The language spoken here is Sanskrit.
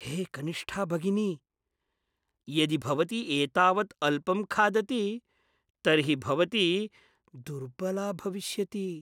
हे कनिष्ठा भगिनी, यदि भवती एतावत् अल्पं खादति तर्हि भवती दुर्बला भविष्यति।